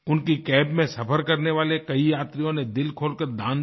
उनकी कैब में सफ़र करने वाले कई यात्रियों ने दिल खोलकर दान दिया